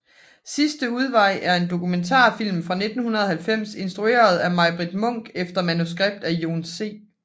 Sidste udvej er en dokumentarfilm fra 1990 instrueret af Majbritt Munck efter manuskript af Jon C